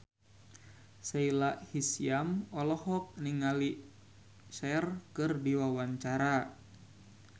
Sahila Hisyam olohok ningali Cher keur diwawancara